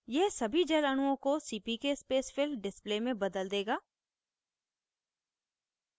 यह सभी जल अणुओं को cpk spacefill display में बदल देगा